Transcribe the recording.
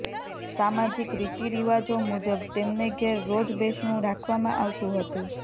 સામાજિક રીતિરિવાજો મુજબ તેમને ઘેર રોજ બેસણું રાખવામાં આવતું હતું